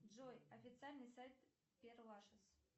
джой официальный сайт пер лашез